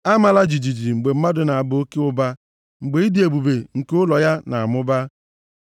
Amala jijiji mgbe mmadụ na-aba oke ụba, mgbe ịdị ebube nke ụlọ ya na-amụba,